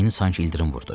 Ceyn sanki ildırım vurdu.